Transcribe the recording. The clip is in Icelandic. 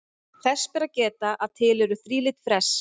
Þess ber að geta að til eru þrílit fress.